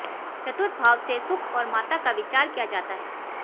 चतुर्थ भाव से सुख और माता का विचार किया जाता है